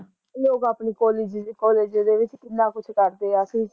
ਲੋਕ ਆਪਨੀ college college ਦੇ ਵਿੱਚ ਕਿੰਨਾ ਕੁਸ਼ ਕਰਦੇ ਐ ਕੀ